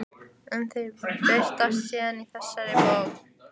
Ein þeirra birtist síðar í þessari bók.